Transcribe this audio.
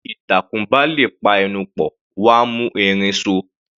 Bí ìtàkùn bá lè pa ẹnu pọ̀, wọ́n á mú erin so.